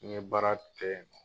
N ye baara kɛ.